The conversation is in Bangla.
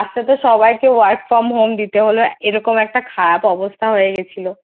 Last তে সবাইকে তো Work from home দিতে হলো এরকম একটা খারাপ অবস্থা হয়ে গেছিলো